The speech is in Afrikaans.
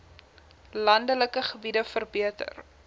landelike gebiede verbeter